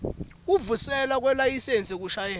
kuvuselelwa kwelayisensi yekushayela